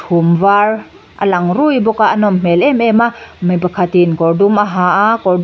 chhum var a lang ruih bawk a a nawm hmel em em a mi pakhat in kawr dum a ha a kawr dum--